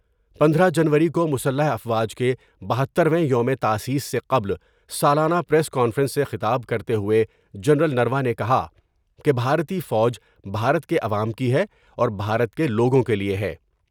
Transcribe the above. پندرہ جنوری کو مسلح افواج کے بہتر ویں یوم تاسیس سے قبل سالا نہ پریس کانفرنس سے خطاب کرتے ہوۓ جنرل نروانے نے کہا کہ بھارتی فوج بھارت کے عوام کی ہے اور بھارت کے لوگوں کے لئے ہے ۔